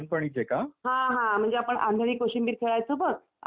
हा, हा, म्हणजे आपण आंधळी कोशिंबीर खेळायचो बघ. आठवतंय तुला?